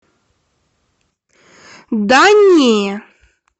да не